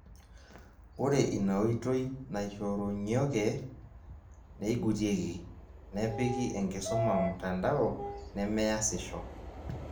Ore ina oitoi naishorunyoke, neigutieki, nepiki enkisuma mtandao, nemeasisho